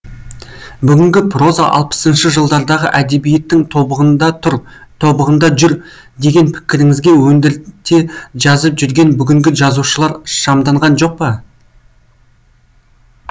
бүгінгі проза алпысыншы жылдардағы әдебиеттің тобығында тұр тобығында жүр деген пікіріңізге өндірте жазып жүрген бүгінгі жазушылар шамданған жоқ па